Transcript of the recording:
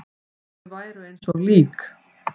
Þau væru eins og lík.